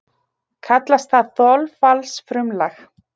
Kallast það þolfallsfrumlag.